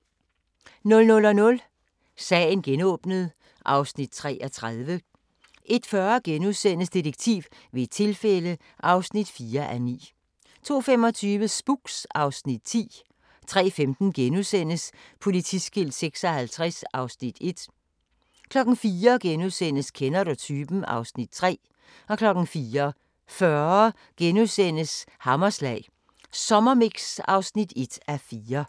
00:00: Sagen genåbnet (Afs. 33) 01:40: Detektiv ved et tilfælde (4:9)* 02:25: Spooks (Afs. 10) 03:15: Politiskilt 56 (Afs. 1)* 04:00: Kender du typen? (Afs. 3)* 04:40: Hammerslag Sommermix (1:4)*